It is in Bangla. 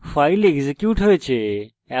file এক্সিকিউট হয়েছে